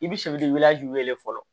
I bɛ wele fɔlɔ